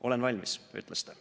"Olen valmis", ütles ta.